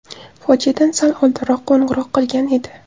Fojiadan sal oldinroq qo‘ng‘iroq qilgan edi.